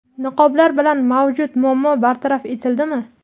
Niqoblar bilan mavjud muammo bartaraf etildimi?.